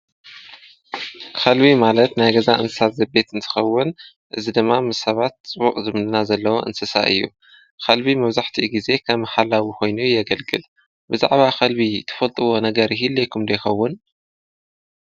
ኸልቢ ማለት ናይ ገዛ እንስሳ ዘቤት እንትኸውን እዚ ደማ ምስ ሰባት ፅበቅ ዝምድና ዘለዎ እንስሳ እዩ። ኸልቢ መብዛሕቲ ጊዜ ካም ሓላዊ ኾይኑ የገልግል ብዛዕባ ኸልቢ ትፈልጥዎ ነገር ይህልየኩም ዶ ይኸውን?